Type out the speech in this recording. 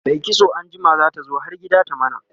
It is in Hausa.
Mai kitso anjima zata zo har gida ta mana